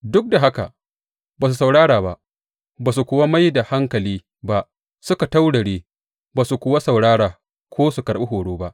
Duk da haka ba su saurara ba, ba su kuwa mai da hankali ba; suka taurare ba su kuwa saurara ko su karɓi horo ba.